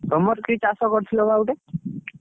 ତମର କି ଚାଷ କରୁଥିଲ ବା ଗୋଟେ?